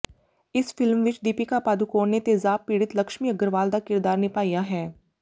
ਇਸ ਫਿਲਮ ਵਿੱਚ ਦੀਪਿਕਾ ਪਾਦੂਕੋਣ ਨੇ ਤੇਜ਼ਾਬ ਪੀੜਤ ਲਕਸ਼ਮੀ ਅਗਰਵਾਲ ਦਾ ਕਿਰਦਾਰ ਨਿਭਾਇਆ ਹੈ